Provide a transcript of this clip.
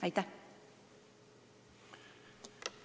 Aitäh!